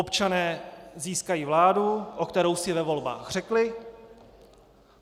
Občané získají vládu, o kterou si ve volbách řekli.